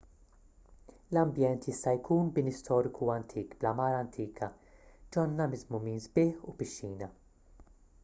l-ambjent jista' jkun bini storiku antik bl-għamara antika ġonna miżmumin sbieħ u pixxina